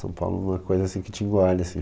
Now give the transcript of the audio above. São Paulo é uma coisa assim que te engole assim.